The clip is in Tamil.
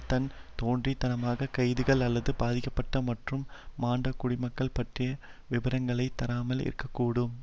தான் தோன்றித் தனமான கைதுகள் அல்லது பாதிக்கப்பட்ட மற்றும் மாண்ட குடிமக்கள் பற்றிய விபரங்களைத் தராமல் இருக்க கூடும்